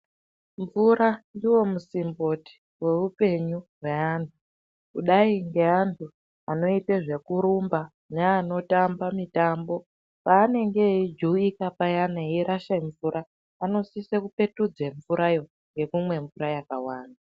Mvura ndiwo musimboti weupenyu hweanhu kudai ngeantu anoite zvekurumba neanotamba mitambo paanenge eijuwika payana eirasha mvura anosise kupetudze mvurayo ngekumwe mvura yakawanda.